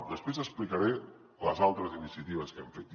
després explicaré les altres iniciatives que hem fet